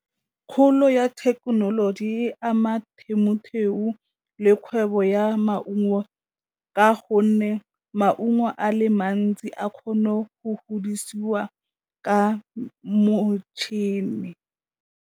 Kgolo ya thekenoloji e ama le kgwebo ya maungo ka gonne maungo a le mantsi a kgone go godisiwa ka motšhini.